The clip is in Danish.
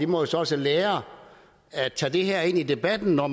må så så lære at tage det her ind i debatten når